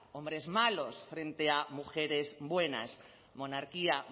hombres malos frente a mujeres buenas monarquía